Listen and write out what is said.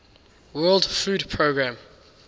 world food programme